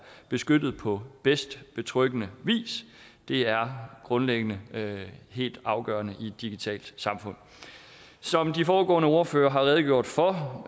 beskyttet på mest betryggende vis det er grundlæggende helt afgørende i et digitalt samfund som de foregående ordførere har redegjort for